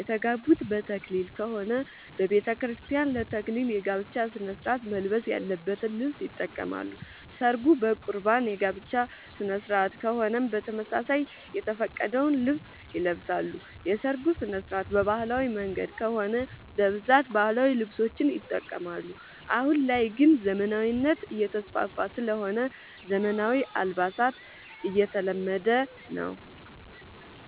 የተጋቡት በተክሊል ከሆነ በቤተክርስቲያን ለ ተክሊል የጋብቻ ስነስርዓት መልበስ ያለበትን ልብስ ይጠቀማሉ። ሰርጉ በቁርባን የጋብቻ ስነስርዓት ከሆነም በተመሳሳይ የተፈቀደውን ልብስ ይለብሳሉ። የሰርጉ ስነስርዓት በባህላዊ መንገድ ከሆነ በብዛት ባህላዊ ልብሶችን ይጠቀማሉ። አሁን ላይ ግን ዘመናዊነት እየተስፋፋ ስለሆነ ዘመናዊ አልባሳት እየተለመደ ነው።